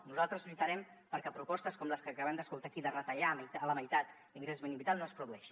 nosaltres lluitarem perquè propostes com les que acabem d’escoltar aquí de retallar a la meitat l’ingrés mínim vital no es produeixin